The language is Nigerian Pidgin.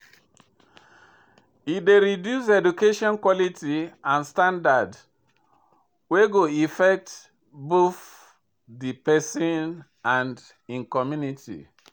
E dey reduce education quality and standard wey go effect both de pesin and im community.